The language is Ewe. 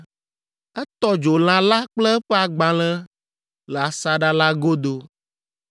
Etɔ dzo lã la kple eƒe agbalẽ le asaɖa la godo.